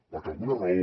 perquè alguna raó